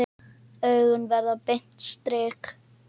Augun verða beint strik.